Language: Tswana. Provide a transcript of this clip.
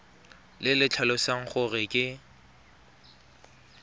le le tlhalosang gore ke